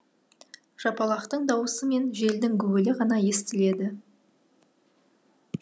жапалақтың дауысы мен желдің гуілі ғана естіледі